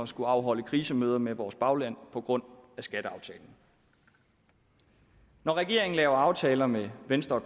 skullet afholde krisemøder med vores bagland på grund af skatteaftalen når regeringen laver aftaler med venstre og